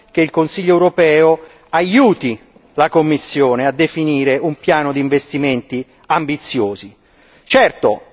Noi ci aspettiamo che il Consiglio europeo aiuti la Commissione a definire un piano di investimenti ambiziosi.